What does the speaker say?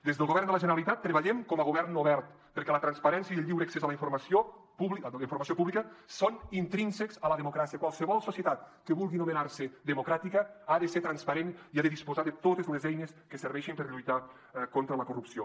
des del govern de la generalitat treballem com a govern obert perquè la transparència i el lliure accés a la informació pública són intrínsecs a la democràcia qualsevol societat que vulgui anomenarse democràtica ha de ser transparent i ha de disposar de totes les eines que serveixin per lluitar contra la corrupció